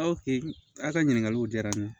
Aw fɛ yen a ka ɲininkaliw diyara n ye